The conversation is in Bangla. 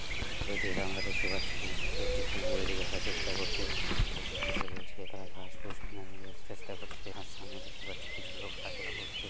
এই ছবিটিতে আমরা দেখতে পাচ্ছি একটি কুকুরের দিকে আসার চেষ্টা করছে। আর অনেকগুলো লোক বসে রয়েছে। তারা ঘাস পুশ কেনার জন্য চেষ্টা করছে। আর সামনে দেখতে পাচ্ছি কিছু লোক হাঁটাচলা করছে।